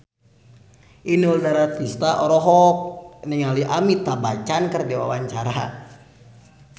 Inul Daratista olohok ningali Amitabh Bachchan keur diwawancara